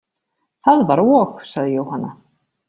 Það var og, sagði Jóhanna.